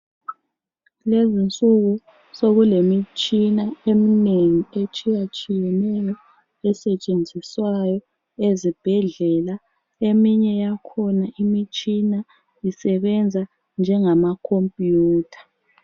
Kulezinsuku sokulemitshina eminengi etshiye-tshiyeneyo esetshenziswayo ezibhedlela eminye yakhona imitshina isebenza ngengama khombiyitha